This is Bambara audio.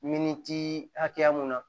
Minitii hakɛya mun na